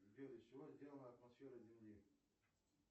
сбер из чего сделана атмосфера земли